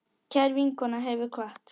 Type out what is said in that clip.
Kær vinkona hefur kvatt.